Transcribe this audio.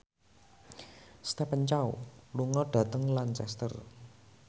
Stephen Chow lunga dhateng Lancaster